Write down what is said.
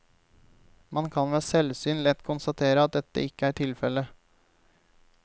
Man kan ved selvsyn lett konstatere at dette ikke er tilfellet.